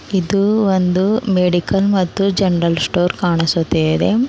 ಇದು ಒಂದು ಮೆಡಿಕಲ್ ಮತ್ತು ಜೆನರಲ್ ಸ್ಟೋರ್ ಕಾಣಿಸುತ್ತಿದೆ.